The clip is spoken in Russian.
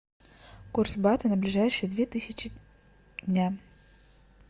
курс бата на ближайшие две тысячи дня